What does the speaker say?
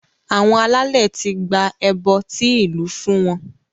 Àwọn alálẹ̀ ti gba ẹbọ tí ìlú fún wọn